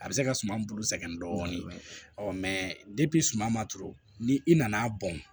A bɛ se ka suma bolo sɛgɛn dɔɔnin ɔ mɛ suman ma turu ni i nana bɔn